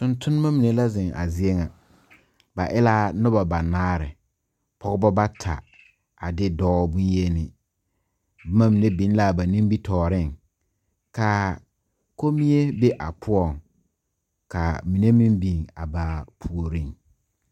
Tontonnema mine la zeŋ a zie ŋa ba e laa nobɔ banaare pɔgebɔ bata a de dɔɔ bonyeni bomma mine biŋ laa ba nimitooreŋ kaa kommie be a poɔŋ kaa mine meŋ biŋ a baa puoriŋ.